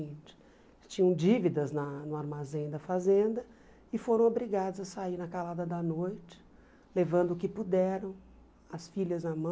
Eles tinham dívidas na no armazém da fazenda e foram obrigados a sair na calada da noite, levando o que puderam, as filhas na mão.